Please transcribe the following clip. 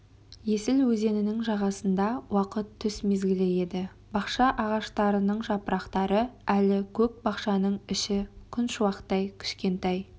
есіл өзенінің жағасында уақыт түс мезгілі еді бақша ағаштарының жапырақтары әлі көк бақшаның іші күншуақ кішкентай